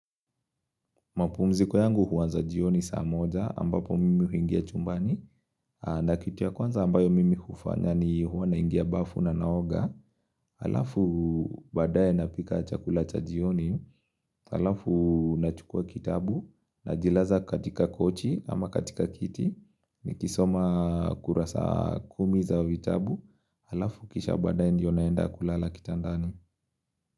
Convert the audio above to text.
Mapumziko yangu huanza jioni saa moja ambapo mimi huingia chumbani. Na kitu ya kwanza ambayo mimi hufanya ni huwa naingia bafu na naoga. Halafu badaye napika chakula cha jioni. Halafu nachukua kitabu, najilaza katika kochi ama katika kiti. Nikisoma kurasa kumi za vitabu. Halafu kisha baydaye ndio naenda kulala kitandani.